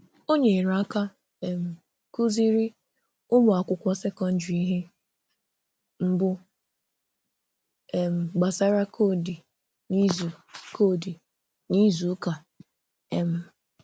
Ọ nyerè aka um kụ̀zìrí ụmụ̀akwụkwọ sekọndrị ihe mbù um gbasàrà kọdì n’izu kọdì n’izu ụka. um